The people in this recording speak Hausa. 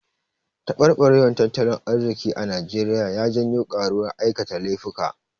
Taɓarɓarewar tattalin arziki a Naijeriya ya janwo ƙaruwar aikata laifuka.